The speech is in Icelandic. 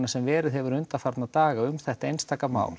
sem verið hefur undanfarna daga um þetta einstaka mál